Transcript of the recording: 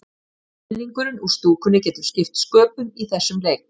Stuðningurinn úr stúkunni getur skipt sköpum í þessum leik.